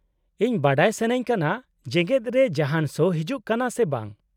-ᱤᱧ ᱵᱟᱰᱟᱭ ᱥᱟᱹᱱᱟᱹᱧ ᱠᱟᱱᱟ ᱡᱮᱜᱮᱫ ᱨᱮ ᱡᱟᱦᱟᱸᱱ ᱥᱳ ᱦᱤᱡᱩᱜ ᱠᱟᱱᱟ ᱥᱮ ᱵᱟᱝ ᱾